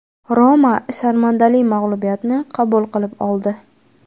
"Roma" sharmandali mag‘lubiyatni qabul qilib oldi.